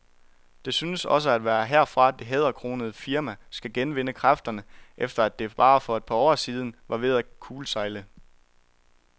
Det synes også at være herfra, det hæderkronede firma skal genvinde kræfterne, efter at det for bare et par år siden var ved at kuldsejle.